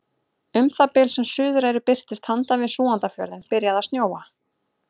Um það bil sem Suðureyri birtist handan við Súgandafjörðinn byrjaði að snjóa.